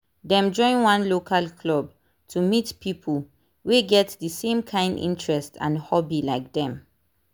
dem join one local club to meet people wey get the same kind interest and hobby like dem